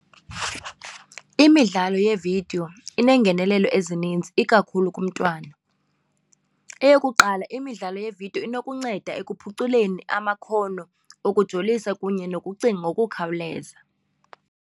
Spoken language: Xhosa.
Imidlalo yeevidiyo ineengenelelo ezininzi ikakhulu kumntwana. Eyokuqala, imidlalo yeevidiyo inokunceda ekuphuculeni amakhono okujolisa kunye nokucinga ngokukhawuleza.